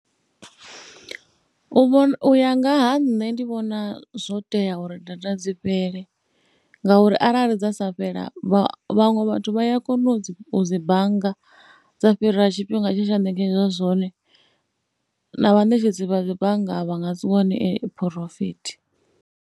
U vhona, u ya nga ha nṋe ndi vhona zwo tea uri data dzi fhele ngauri arali dza sa fhela vhaṅwe vhathu vha ya kona u dzi bannga dza fhira tshifhinga tshe tsha ṋekedzwa zwone na vhaṋetshedzi vha dzi bannga vha nga si wane phurofithi.